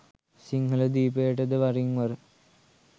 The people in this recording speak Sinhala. සිංහල දීපයට ද වරින්වර